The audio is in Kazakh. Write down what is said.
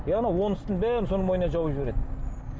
иә анау он үстіне бәрін соның мойнына жауып жібереді